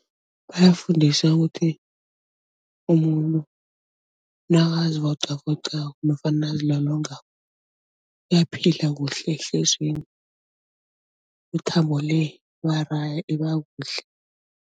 Bayafundiswa ukuthi umuntu nakazi vocavocako nofana nakazilolongako uyaphila kuhle , imithambo le iba kuhle.